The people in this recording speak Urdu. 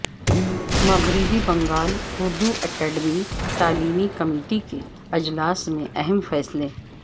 مغربی بنگال اردو اکیڈمی تعلیمی کمیٹی کے اجلاس میں اہم فیصلے